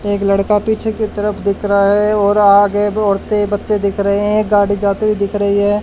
एक लड़का पीछे की तरफ दिख रहा है और आगे ब औरते बच्चे दिख रहे हैं गाड़ी जाते हुए दिख रही है।